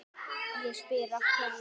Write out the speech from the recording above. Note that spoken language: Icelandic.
Ég spyr af hverju?